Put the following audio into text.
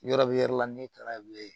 Yɔrɔ bɛ yɛrɛ la n'i taara bilen